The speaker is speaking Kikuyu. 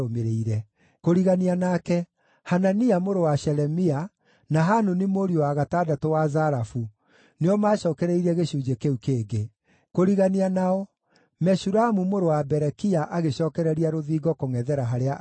Kũrigania nake, Hanania mũrũ wa Shelemia, na Hanuni mũriũ wa gatandatũ wa Zalafu, nĩo maacookereirie gĩcunjĩ kĩu kĩngĩ. Kũrigania nao, Meshulamu mũrũ wa Berekia agĩcookereria rũthingo kũngʼethera harĩa aikaraga.